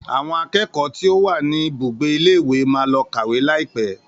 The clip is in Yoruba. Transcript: Àwọn akẹ́kọ̀ọ́ tí ó wà ní ibùgbé ilé ìwé máa lọ kàwé laipe